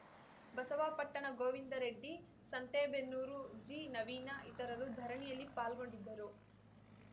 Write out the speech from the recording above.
ಬಸವಾಪಟ್ಟಣ ಗೋವಿಂದರೆಡ್ಡಿ ಸಂತೇಬೆನ್ನೂರು ಜಿನವೀನ ಇತರರು ಧರಣಿಯಲ್ಲಿ ಪಾಲ್ಗೊಂಡಿದ್ದರು